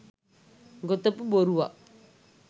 ගොතපු බොරුවක්.